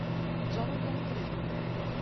джонатан крик